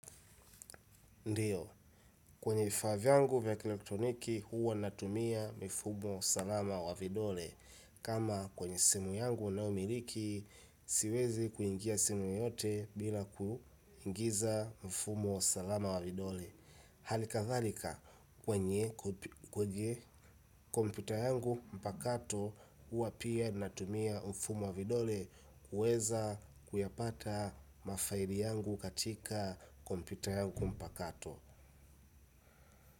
Ndiyo kwenye vifaa vyangu vya elektroniki huwa natumia mifumo salama wa vidole kama kwenye simu yangu ninayomiliki siwezi kuingia simu yoyote bila kuingiza mfumo salama wa vidole. Hali kathalika kwenye kompyuta yangu mpakato huwa pia natumia mfumo wa vidole kuweza kuyapata mafaili yangu katika kompyuta yangu mpakato.